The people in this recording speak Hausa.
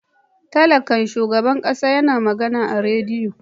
Talakan shugaban kasa ya na magana a radiyo.